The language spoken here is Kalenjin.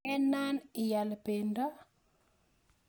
kenaan ial pendo?